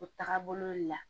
O tagabolo le la